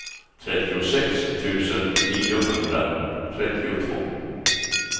trettiosex tusen niohundratrettiotvå